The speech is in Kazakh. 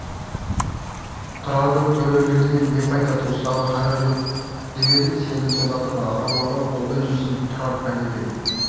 тұрардың төрелігінен не пайда туысқанға қайыры жоқ деп едім сені солардың аруағы қолдай жүрсін тұрар пәледен